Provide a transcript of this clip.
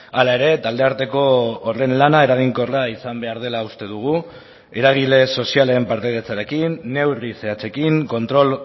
hala ere talde arteko horren lana eraginkorra izan behar dela uste dugu eragile sozialen partaidetzarekin neurri zehatzekin kontrol